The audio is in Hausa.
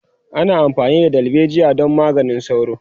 ana amfani da dalbejiya don maganin sauro